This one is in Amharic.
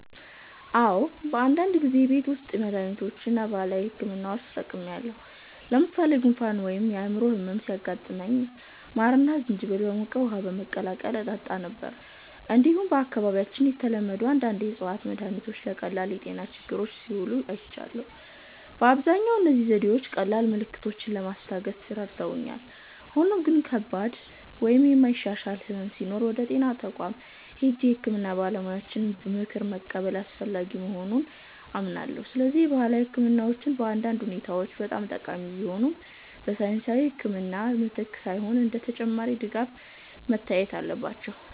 "አዎ፣ በአንዳንድ ጊዜ የቤት ውስጥ መድሃኒቶችን እና ባህላዊ ሕክምናዎችን ተጠቅሜያለሁ። ለምሳሌ ጉንፋን ወይም የጉሮሮ ህመም ሲያጋጥመኝ ማርና ዝንጅብል በሞቀ ውሃ በመቀላቀል እጠጣ ነበር። እንዲሁም በአካባቢያችን የተለመዱ አንዳንድ የእፅዋት መድሃኒቶች ለቀላል የጤና ችግሮች ሲውሉ አይቻለሁ። በአብዛኛው እነዚህ ዘዴዎች ቀላል ምልክቶችን ለማስታገስ ረድተውኛል፣ ሆኖም ግን ከባድ ወይም የማይሻሻል ሕመም ሲኖር ወደ ጤና ተቋም ሄጄ የሕክምና ባለሙያ ምክር መቀበል አስፈላጊ መሆኑን አምናለሁ። ስለዚህ ባህላዊ ሕክምናዎች በአንዳንድ ሁኔታዎች ጠቃሚ ቢሆኑም፣ በሳይንሳዊ ሕክምና ምትክ ሳይሆን እንደ ተጨማሪ ድጋፍ መታየት አለባቸው።"